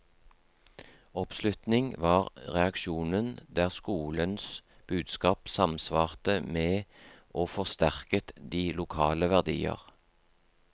Oppslutning var reaksjonen der skolens budskap samsvarte med og forsterket de lokale verdier.